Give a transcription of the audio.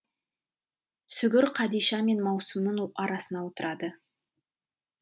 сүгір қадиша мен маусымның арасына отырады